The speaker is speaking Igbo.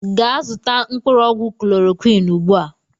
Gee zụta mkpụrụ ọgwụ chlọrọquin ụgbụa!!!